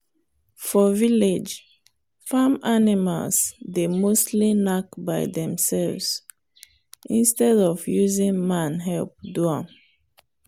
for village farm animals dey mostly knack by themselves instead of using man help do am.